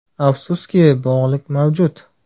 Afsuski, bog‘lik mavjud.